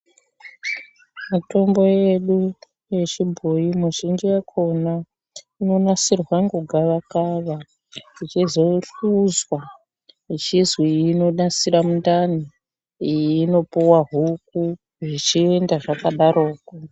Mutombo yedu yechibhoyi muzhinji yakhona inosirwa ngogavakava ichizohluzwa ichizwiniyi inonasira mundani, iyi inopuwa huku zvichienda zvakadarokwo.